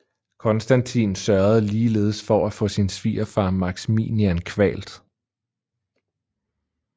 Konstantin sørgede ligeledes for at få sin svigerfar Maximinian kvalt